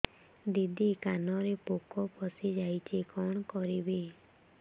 ଦିଦି କାନରେ ପୋକ ପଶିଯାଇଛି କଣ କରିଵି